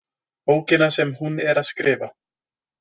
Bókina sem hún er að skrifa.